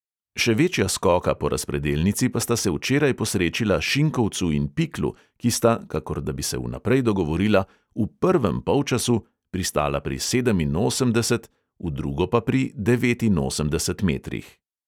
Še večja skoka po razpredelnici pa sta se včeraj posrečila šinkovcu in piklu, ki sta – kakor da bi se vnaprej dogovorila – v "prvem polčasu" pristala pri sedeminosemdeset, v drugo pa pri devetinosemdesetih metrih.